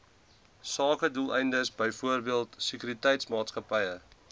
sakedoeleindes byvoorbeeld sekuriteitsmaatskappye